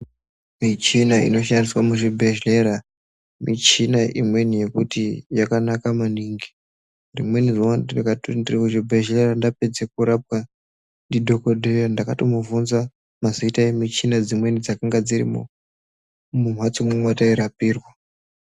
Michina inoshandiswe muzvibhehlera michina imweni yekuti yakanaka maningi rimweni zuwa ndakatoti ndirkuchibhehlera ndapedze kurapwa ndidhokodheya ndakatomubvunza mazita emichina dzimweni dzakange dzirimo mumhatso mwatairapirwa.